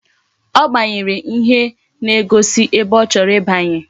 Ọ gbanyere ihe na-egosi ebe ọ chọrọ ibanye.